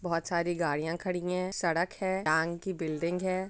बहुत सारी गाड़ियाँ खड़ी है सड़क है बैंक कि बिल्डिंग है।